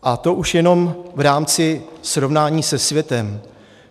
A to už jenom v rámci srovnání se světem.